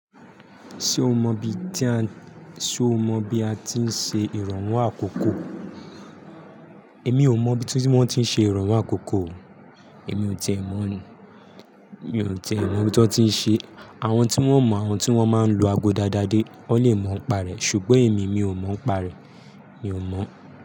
Ṣé o mọ bi tí a, ṣe o mọ bi a ti ń ṣe ìrànwọ́ àkókò? Èmi ò mọ bi wón ti ń ṣe ìrànwọ́ àkókò. Èmi ò tíì mọ̀ ní, mi ò tíì é mọ bi wón ti ń ṣe. Àwọn tí wón mọ, àwọn tí wọ́n máa ń lo ago dáadáa dé, wón lè mọ ń pa rẹ̀ ṣùgbọ́n èmi, mi ò mọ ń pa rẹ̀. Mi ò mọ̀